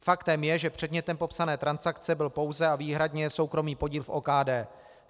Faktem je, že předmětem popsané transakce byl pouze a výhradně soukromý podíl v OKD.